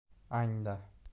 аньда